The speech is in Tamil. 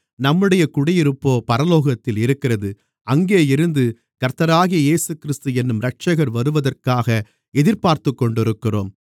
நம்முடைய குடியிருப்போ பரலோகத்தில் இருக்கிறது அங்கேயிருந்து கர்த்தராகிய இயேசுகிறிஸ்து என்னும் இரட்சகர் வருவதற்காக எதிர்பார்த்துக்கொண்டிருக்கிறோம்